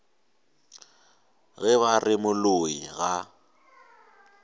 ge ba re moloi ga